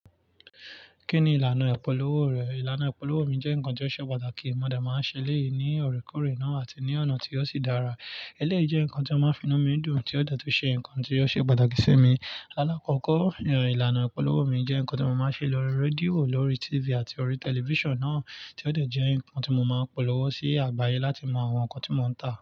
Kí ni ìlànà ìpolówó rẹ̀? Ìlànà ìpolówó mi jẹ́ nǹkan tó ṣe pàtàkì. Mo dà máa ń ṣẹlẹ̀ yìí ní ọ̀rẹ́kọ̀ọ̀rẹ́ náà àti ní ọ̀nà tí ó sì dára. Ẹlẹ́yìí jẹ́ nǹkan tí wọ́n máa ń fi inú mi dùn tí ó dẹ̀ tún ṣe nǹkan tí ó ṣe pàtàkì sí mi. Lálákọ̀ọ́kọ́, ìlànà ìpolówó mi jẹ́ nǹkan tí mo máa ń ṣe lórí rédíò, lórí TV àti orí tẹlifíṣàn náà tí ó dẹ̀ jẹ́ nǹkan tí mo máa ń polówó sí àgbáyé láti mọ àwọn nǹkan tí mò ń tà.